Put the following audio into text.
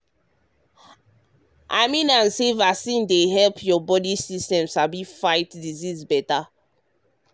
i mean am say vaccine dey help your body system sabi fight disease better.